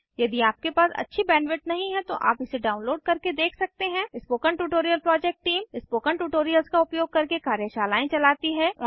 यदि आपके पास अच्छी बैंडविड्थ नहीं है तो आप इसे डाउनलोड करके देख सकते हैं spoken tutorial project team spoken tutorials का उपयोग करके कार्यशालाएं चलाती है